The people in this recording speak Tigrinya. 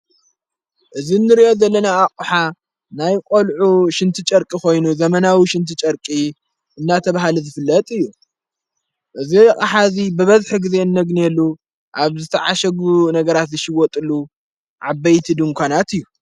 እዝ እንርእ ዘለና ኣቑሓ ናይ ቈልዑ ሽንቲ ጨርቂ ኾይኑ ዘመናዊ ሽንቲ ጨርቂ እናተብሃል ዝፍለጥ እዩ እእዘ ይቕሓእዚ ብበድሒ ጊዜ እነግነሉ ኣብ ዝተዓሸጉ ነገራት ይሽወጥሉ ዓበይቲ ድንኳናት እዩ።